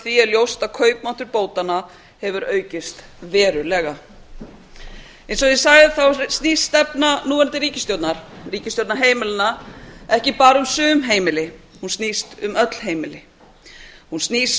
því er ljóst að kaupmáttur bótanna hefur aukist verulega eins og ég sagði þá snýst stefna núverandi ríkisstjórnar ríkisstjórnar heimilanna ekki bara um sum heimili hún snýst um öll heimili hún snýst